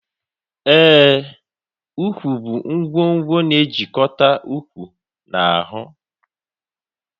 Ee, úkwú bụ nkwonkwo na-ejikọta ụkwụ na ahụ